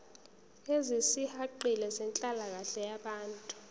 ezisihaqile zenhlalakahle yabantu